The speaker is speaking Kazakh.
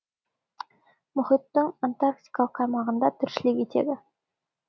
мұхиттың антарктикалық аймағында тіршілік етеді